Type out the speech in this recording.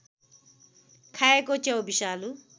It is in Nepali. खाएको च्याउ विषालु